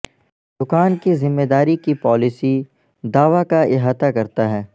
دکان کی ذمہ داری کی پالیسی دعوی کا احاطہ کرتا ہے